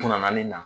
Kunnaani na